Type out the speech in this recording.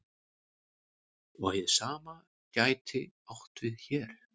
Og hið sama gæti átt við hér.